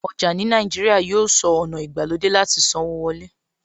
Ọjà ní Nàìjíríà yóò sọ ọ̀nà ìgbàlódé láti sanwó wọlé.